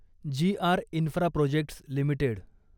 G R Infraprojects limited